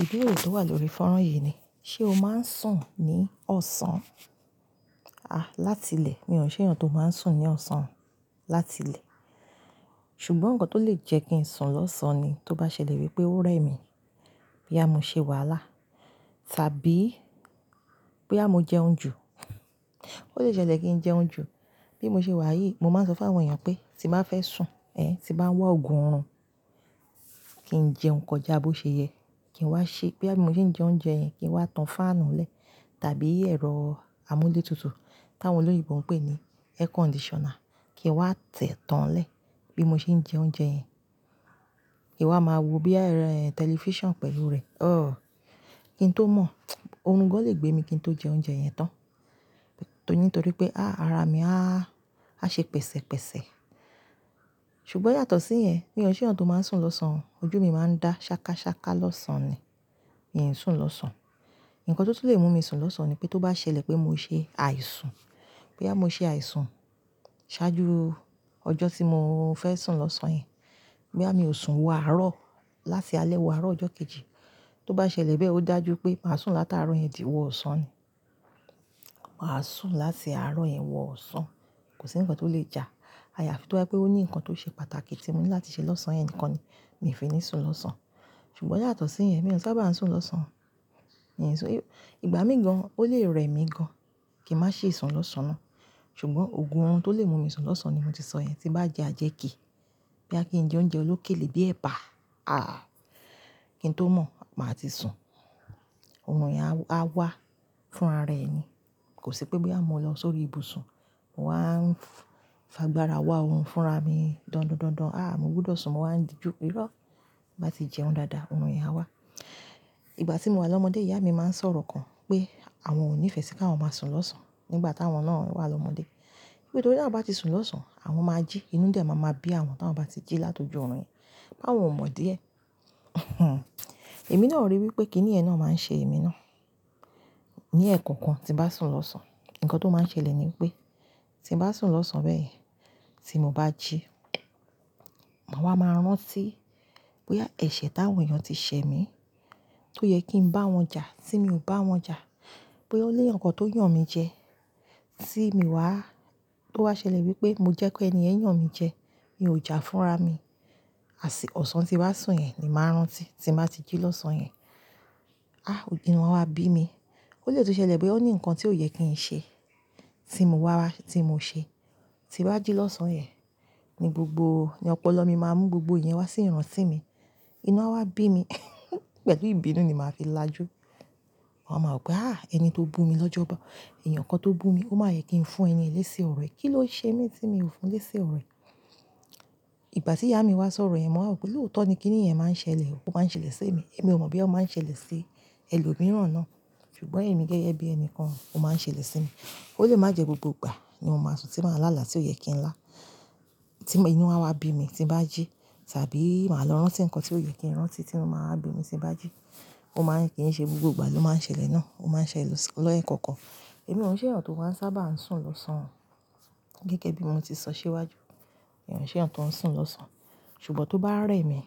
Ìdúró tó wà lórí fọ́nrán yìí ni. Ṣé o máa ń sùn ní ọ̀sán? A, látilẹ̀ mi ò n ṣé èèyàn tó máa ń sùn ní ọ̀sán látilẹ̀. Ṣùgbọ́n nǹkan tó lè jẹ́ kí n sùn lọ́sàn ni, tó bá ṣẹlẹ̀ wípé ó rẹ mí, bóyá mo ṣe wàhálà, tàbí bóyá mo jẹun jù. Ó lè ṣẹlẹ̀ kí n jẹun jù. Bí mo ṣe wà yìí, mo máa ń sọ fún àwọn èèyàn pé, tí n bá fẹ́ sùn, ẹ, tí n bá ń wa òògùn orun, kí n jẹun kọjá bó ṣe yẹ. Kí n wá ṣe, bóyá bí mo ṣe ń jẹ oúnjẹ yẹn, kí n wá tan fáànù lẹ́, tàbí ẹ̀rọ amúlé tutù, tí àwọn olóyinbọ ń pè ní air conditioner, kí n wá tẹ̀ tán lẹ́, bí mo ṣe ń jẹ oúnjẹ yẹn. Kín wá máa wo bíi, tẹlifíṣon pẹ̀lú rẹ̀. Ọ, kí n tó mọ̀, orun gán lè gbé mi kí n tó jẹ oúnjẹ yẹn tán. Nítorí pé, a, ara mi a, a ṣe pẹ̀sẹ̀pẹ̀sẹ̀. Ṣùgbọ́ yàtọ̀ sí yẹn, mi ò n ṣéyàn tó máa ń sùn lọ́sàn o. Ojú mi máa ń dá ṣákáṣáká lọ́sàn ni, mi ò sì ń sùn lọ́sàn. Ǹnkan tó tu lè mú mi sùn lọ́sàn ni pé tó bá ṣẹlẹ̀ pé mo ṣe àìsùn, bóyá mo ṣe àìsùn ṣáájú ọjọ́ tí mo fẹ́ sùn lọ́sàn yẹn, bóyá mi ò sùn wọ àárọ̀, láti alẹ́ wọ àárọ̀ ọjọ́ kejì. Tó bá ṣẹlẹ̀ bẹ́ẹ̀ ó dájú pé màá sùn látaàárọ̀ yẹn tì owọ ọ̀sán ni. Màá sùn láti àárọ̀ yẹn wọ ọ̀sán. Kò sí nǹkan tó lè jà. Àyàfi tó bá e pé ó ní nǹkan tó ṣe pàtàkì tí mo ní láti ṣe lọ́sàn yẹn nìkan ni, mi ò fi ní sùn lọ́sàn. Ṣùgbọ́n yàtọ̀ sí yẹn, mi ò sábà ń sùn lọ́sàn. Ìgbà míì gan, ó lè rẹ mí gan, kí n má ṣe sùn lọ́sàn náà. Ṣùgbọ́n òògùn orun tó lè mú mi sùn lọ́sàn ni mo ti sọ yẹn, tí n bá jẹ́ ajẹ́kìí, bí a kí n jẹ oúnjẹ olókèlé bíi ẹ̀bà, a, kí n tó mọ̀, màá ti sùn. Orun yẹn á wá fún ara ẹni. Kò sí pé bóyá mo lọ sórí ibùsùn, mo wá ń fa gbára wá òun fúnra mi dọ̀ndọ̀ndọ̀ndọ̀n. A, mo gbúdọ̀ sùn, mo wá ń di ju, irọ́ bá ti jẹun dáadáa, orun yẹn á wá. Ìgbà tí mo wà lọ́mọdé, ìyá mi máa ń sọ̀rọ̀ kan pé àwọn ò nífẹ̀ẹ́ sí kí àwọn máa sùn lọ́sàn nígbà tí àwọn náà wà lọ́mọdé. Nítorí tí àwọn bá ti sùn lọ́sàn, àwọn máa jí, inú dẹ̀ máa maa bí àwọn tí àwọn bá ti jí láti óju orun yẹn. Báwo o mọ̀ díẹ̀? Èmi náà ríi wípé kínì yẹn náà máa ń ṣe èmi náà. Ni ẹ́ẹ̀kan kan, tí n bá sùn lọ́sàn, nǹkan tó máa ń ṣẹlẹ̀ ni wípé tí n bá sùn lọ́sàn bẹ́ẹ̀ yẹn, tí mo bá jí, mà wá máa rántí bóyá ẹ̀ṣẹ̀ táwọn èèyàn ti ṣẹ mí, tó yẹ kí n bá wọn jà, tí mi ò bá wọn jà, bóyá ó lé èèyàn kan tó yàn mí jẹ, tí mii wá, tó bá ṣẹlẹ̀ wípé mo jẹ́ pé ẹni yẹn yàn mí jẹ, mi ò jà fúnra mi, ọ̀sán tí n wá sùn yẹn ni màá rántí tí n bá ti jí lọ́sàn yẹn. A, inú awá bí mi. Ó lè tún ṣẹlẹ̀ bóyá ó ní nǹkan tí ó yẹ kí n ṣe, tí mo wá, tí mo ṣe. Ti n bá jí lọ́sàn yẹn, ni gbogbo, ni ọpọlọ mi máa mú gbogbo ìyẹn wá sí ìrántí mi. Inú á wá bí mi, pẹ̀lú ìbínú ni màá fi lájú. Máa máa rò pé, "A, ẹni tó bù mi lọ́jọ́bàá, èèyàn kan tó bù mi, ó máa yẹ kí n fún ẹni yẹn lẹ́si ọ̀ro ẹ́. Kí ló ṣe mí tí mi ò fún lẹ́si ọ̀ro ẹ́?" Ìgbà tí ìyá mi wá sọ̀rọ̀ yẹn, mo wá rò pé lóòtọ́ ni kí nìyẹn máa ń ṣẹlẹ̀, ó máa ń ṣẹlẹ̀ sí mi. Èmi ò mọ̀ bí ó máa ń ṣẹlẹ̀ sí ẹlòmíràn náà, ṣùgbọ́n èmi gẹ́gẹ́ bí ẹni kan, ó máa ń ṣẹlẹ̀ sí mi. Ó lè má jẹ́ gbogbo ìgbà ni mo máa sùn tí màá lála tí ó yẹ kí n lá, tí inú á wá bí mi tí n bá jí, tàbí màá lọ rántí ǹnkan tí ó yẹ kí n rántí tí mo máa wá bínú tí n bá jí. Ó máa ń, kí n ṣe gbogbo ìgbà ló máa ń ṣẹlẹ̀ náà. Ó máa ń ṣẹlẹ̀ lẹ́ẹ̀kọ̀ọ̀kan. Èmi ò n ṣé èyàn tó máa ń sábà ń sùn lọ́sàn. Gẹ́gẹ́ bí mo ti sọ síwájú. Mi ò n ṣéyàn tó ń sùn lọ́sàn. Ṣùgbọ́n tó bá rẹ mí,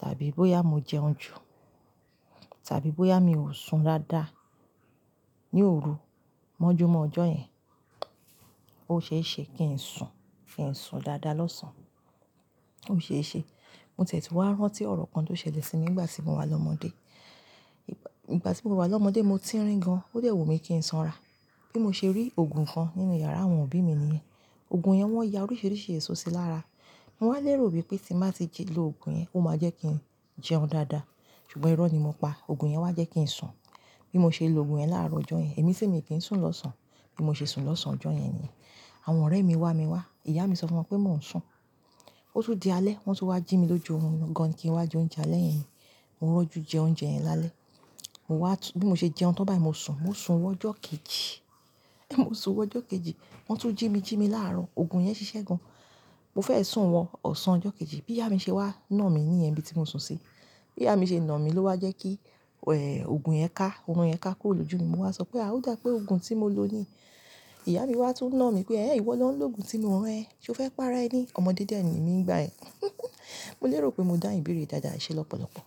tàbí bóyá mo jẹun jù, tàbí bóyá mi ò sun dáadáa, ní òru mọ́júmọ̀ ọjọ́ yẹn, ó ṣeéṣe kí n sùn, kí n sùn dáadáa lọ́sàn. Ó ṣeéṣe. Mo tie tú wá rántí ọ̀rọ̀ kan tó ṣẹlẹ̀ sí mi nígbà tí mo wà lọ́mọdé. Ìgbà tí mo wà lọ́mọdé, mo ti ń rín gan, ó dẹ̀ wù mí kí n sanra. Bí mo ṣe rí òògùn kan nínú iyàrá àwọn òbí mi niyẹn. Òògùn yẹn wọ́n ya oríṣìíríṣìí èso sí lára. Mo wá lérò wípé tí n bá ti lò òògùn yẹn, ó máa jẹ́ kí n jẹun dáadáa. Ṣùgbọ́n irọ́ ni mo pa. Òògùn yẹn wá jẹ́ kí n sùn. Bí mo ṣe lo òògùn yẹn láárọ̀ ọjọ́ yẹn, èmi ti mi kí n sùn lọ́sàn. Bí mo ṣe sùn lọ́sàn ọjọ́ yẹn ni yẹn, àwọn ọ̀rẹ́ mi wá mi wá. Ìyá mi sọ fún wọn pé mò ń sùn. Ó tún di alẹ́, wọ́n tó wá jí mi lójú orun gan, kí n wá jẹ oúnjẹ alẹ́ yẹn. Mo rọ́jú jẹ oúnjẹ yẹn lálẹ́. Mo wá tú, bí mo ṣe jẹun tán báyìí, mo sùn. Mo sùn wọ ọjọ́ kejì. Mo sùn wọ ọjọ́ kejì. Wọ́n tún jí mi, jí mi láàrọ̀. Òògùn yẹn ṣiṣẹ́ gan. Mo fẹ́ e sùn wọ ọ̀sán ọjọ́ kejì. Bí ìyá mi ṣe wá na mí níyẹn níbi tí mo sùn sí. Bí ìyá mi ṣe na mí ló wá jẹ́ kí, òògùn yẹn ká, orun yẹn ká kúrò lójú mi. Mo wá sọ pé, "A ó dà pé òògùn tí mo lò ni." Ìyá mi wá tún na mí pé, "Ẹ̀hen, ìwọ ló ń lo òògùn tí mi ò rán ẹ. Ṣé o fẹ́ pa ara ẹni? Ọmọdé dẹ̀ ni mí nígbà yẹn." Mo lérò pé mo dáhùn ìbéèrè dáadáa, eṣe lọ́pọ̀lọpọ̀.